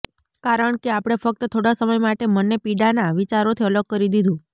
કારણકે આપણે ફક્ત થોડા સમય માટે મનને પીડાના વિચારોથી અલગ કરી દીધું